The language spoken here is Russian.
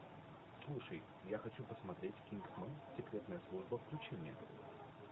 слушай я хочу посмотреть кингсман секретная служба включи мне